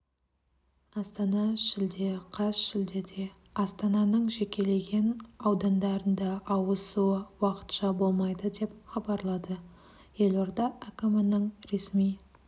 астана шілде қаз шілдеде астананың жекелеген аудандарында ауыз суы уақытша болмайды деп хабарлады елорда әкімінің ресми